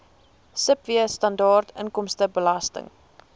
sibw standaard inkomstebelasting